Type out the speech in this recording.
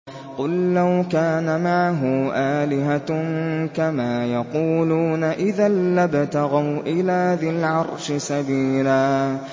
قُل لَّوْ كَانَ مَعَهُ آلِهَةٌ كَمَا يَقُولُونَ إِذًا لَّابْتَغَوْا إِلَىٰ ذِي الْعَرْشِ سَبِيلًا